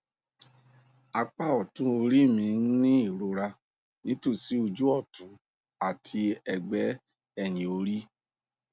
apá ọtún orí mi ń ní ìrora nítòsí ojú ọtún àti ẹgbẹ ẹyìn orí